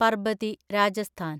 Parbati (Rajasthan)